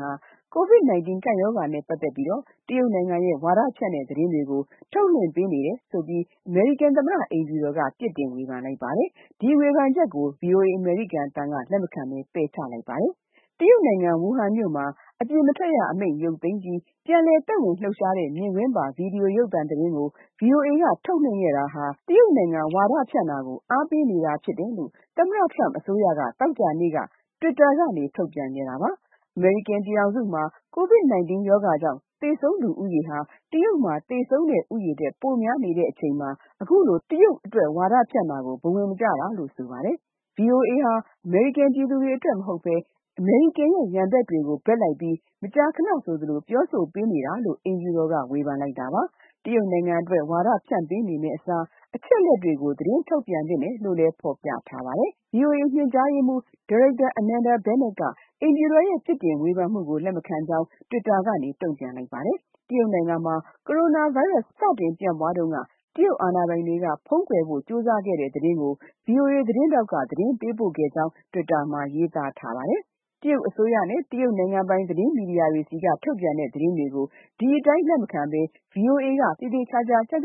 ဟာ COVID-19 ကပ်ရောဂါနဲ့ ပတ်သက်တဲ့ တရုတ်နိုင်ငံရဲ့ ဝါဒဖြန့်တဲ့သတင်းတွေ ထုတ်လွှင့်ပေးနေတယ်ဆိုပြီး အမေရိကန် သမ္မတအိမ်ဖြူတော်က ပြစ်တင်ဝေဖန်တာကို VOA က ပယ်ချလိုက်ပါတယ်။ တရုတ်နိုင်ငံ ဝူဟန်မြို့မှာ အပြင်မထွက်ရအမိန့် ရုပ်သိမ်းပြီး ပြန်လည်သက်ဝင် လှုပ်ရှားနေတဲ့ မြင်ကွင်းပါ ဗွီဒီယိုရုပ်သံသတင်းကို VOA က ထုတ်လွှင့်ခဲ့တာဟာ တရုတ်ဝါဒဖြန့်တာကို အားပေးနေတာဖြစ်တယ်လို့ သမ္မတ Trump အစိုးရက သောကြာနေ့မှာ Twitter ကနေ ထုတ်ပြန်ခဲ့တာပါ။ အမေရိကန်ပြည်ထောင်စုမှာ COVID-19 ကြောင့် သေဆုံးသူဦးရေဟာ တရုတ်မှာသေဆုံးတဲ့ ဦးရေထက် ပိုများနေချိန်မှာ အခုလို တရုတ်ဝါဒဖြန့်တာကို ဘဝင်မကျတာလို့ ဆိုပါတယ်။ VOA ဟာ အမေရိကန်ပြည်သူတွေအတွက် မဟုတ်ဘဲ အမေရိကန်ရဲ့ ရန်ဘက်တွေအတွက်ပဲ မကြာခဏဆိုသလို ပြောဆိုပေးနေတာလို့ အိမ်ဖြူတော်က ဝေဖန်တာပါ။ တရုတ်နိုင်ငံအတွက် ဝါဒဖြန့်ပေးနေမယ့်အစား အချက်အလက်တွေကို သတင်းထုတ်ပြန်သင့်တယ်လို့လည်း ဖော်ပြထားပါတယ်။ VOA ညွှန်ကြားရေးမှူး Amanda Bennet က အိမ်ဖြူတော်ရဲ့ ပြစ်တင်ဝေဖန်မှုကို လက်မခံကြောင်း Twitter ကနေ တုံ့ပြန်ပါတယ်။ တရုတ်နိုင်ငံမှာ ကိုရိုနာဗိုင်းရပ်စ် စတင်ပြန့်ပွားတုန်းက တရုတ်အာဏာပိုင်တွေက ဖုံးကွယ်ဖို့ ကြိုးစားခဲ့တဲ့ သတင်းကို VOA သတင်းထောက်က သတင်းပေးပို့ခဲ့ကြောင်း Twitter မှာ ရေးသားပါတယ်။ တရုတ်အစိုးရနဲ့ နိုင်ငံပိုင် သတင်းမီဒီယာတွေဆီက ထုတ်ပြန်တဲ့ သတင်းတွေကို ဒီအတိုင်း လက်မခံဘဲ VOA က သေသေချာချာ စုံ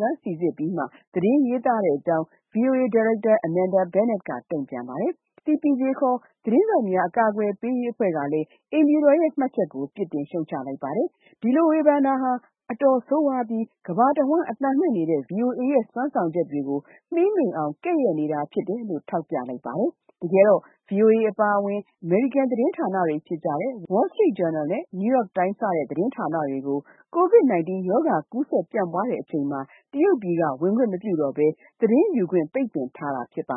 စမ်းစိစစ်ပြီးမှ သတင်းရေးသားတဲ့အကြောင်း VOA ဒါရိုက်တာ Amanda Bennett က တုံပြန်ပါတယ်။ CPJ သတင်းထောက်များ အကာအကွယ်ပေးရေး အဖွဲ့ကလည်း အိမ်ဖြူတော်ရဲ့ မှတ်ချက်ကို ပြစ်တင်ရှုတ်ချပါတယ်။ ဒီလိုဝေဖန်တာဟာ အတော်ဆိုးဝါးပြီး ကမ္ဘာတဝန်း အသံလွှင့်နေတဲ့ VOA ရဲ့ လုပ်ဆောင်ချက်တွေကို မှေးမှိန်အောင် ကဲ့ရဲ့နေတာဖြစ်တယ်လို့ ထောက်ပြပါတယ်။ တကယ်တော့ VOA အပါအဝင် အမေရိကန် သတင်းဌာနတွေဖြစ်ကြတဲ့ Wall Street Journal, New York Times စတဲ့ သတင်းဌာနတွေကို COVID-19 ရောဂါ ကူးစက်ပြန့်ပွားချိန်မှာ တရုတ်ပြည်က ဝင်ခွင့်မပြုတော့ဘဲ သတင်းယူခွင့် ပိတ်ပင်ခံထားရတာ ဖြစ်ပါ